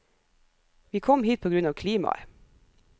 Vi kom hit på grunn av klimaet.